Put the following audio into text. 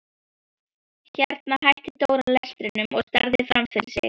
Hérna hætti Dóri lestrinum og starði fram fyrir sig.